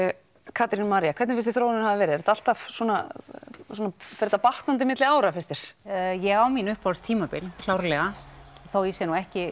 Katrín María hvernig finnst þér þróunin hafa verið er þetta alltaf svona fer þetta batnandi á milli ára finnst þér ég á mín uppáhalds tímabil klárlega þó ég sé nú ekki